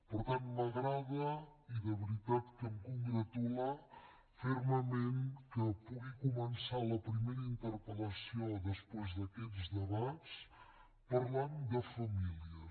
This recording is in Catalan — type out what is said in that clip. per tant m’agrada i de veritat que hem congratula fermament que pugui començar la primera interpel·lació després d’aquests debats parlant de famílies